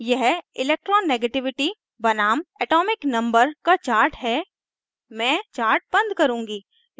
यह electronegativity बनाम atomic number z का chart है मैं chart बंद करुँगी